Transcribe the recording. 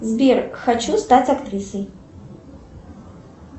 сбер хочу стать актрисой